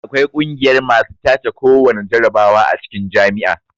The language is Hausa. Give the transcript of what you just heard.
Akwai kungiyar masu tace kowana jarabawa a cikin jami'a